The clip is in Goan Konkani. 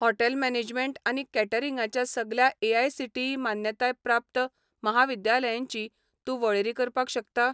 हॉटेल मॅनेजमेंट आनी कॅटरिंगां च्या सगल्या एआयसीटीई मान्यताय प्राप्त म्हाविद्यालयांची तूं वळेरी करपाक शकता?